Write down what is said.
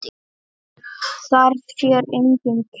Þar sér enginn til.